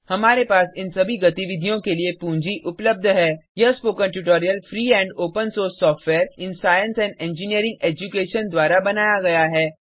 हमारे पास इन सभी गतिविधियों के लिए पूंजी उपलब्ध है यह spoken tutorial free and open source software in science and engineering education द्वारा बनाया गया है